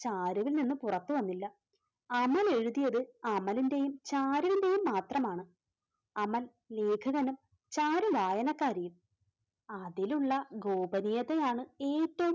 ചാരുവിൽ നിന്ന് പുറത്തുവന്നില്ല. അമൽ എഴുതിയത് അമലിന്റെയും ചാരുവിന്‍റെയും മാത്രമാണ് അമൽ ലേഖകനും ചാരു വായനക്കാരിയും അതിലുള്ള ഗോപരീതയാണ് ഏറ്റവും